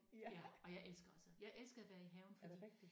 Ja og jeg elsker også jeg elsker at være i haven fordi